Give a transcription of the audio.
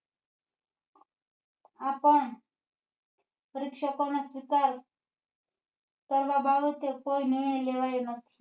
આ પણ પરીક્ષા કાળ ના સ્વીકાર કરવા બાબતે કોઈ નિર્ણય લેવાયો નથી